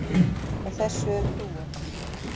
Og þessu er trúað.